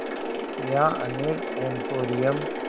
यहाँ अनेक एंपोरियम